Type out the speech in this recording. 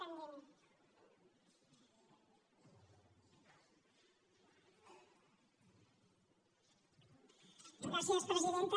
gràcies presidenta